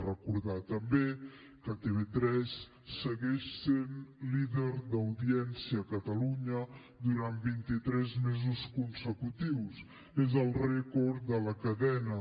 recordar també que tv3 segueix sent líder d’audiència a catalunya durant vint i tres mesos consecutius és el rècord de la cadena